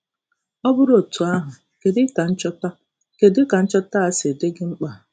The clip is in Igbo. Ọ bụrụ otu ahụ, kedu ka nchọta kedu ka nchọta a siri dị gị mkpa?